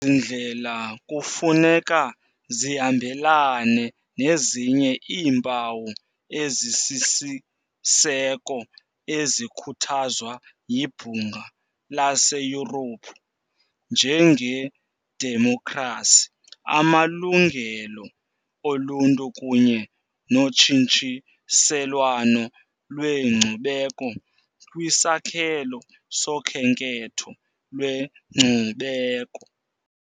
Ezi ndlela kufuneka zihambelane nezinye iimpawu ezisisiseko ezikhuthazwa yiBhunga laseYurophu njengedemokhrasi, amalungelo oluntu kunye notshintshiselwano lwenkcubeko kwisakhelo sokhenketho lwenkcubeko.